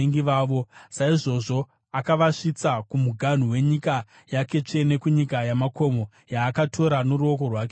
Saizvozvo akavasvitsa kumuganhu wenyika yake tsvene, kunyika yamakomo yaakatora noruoko rwake rworudyi.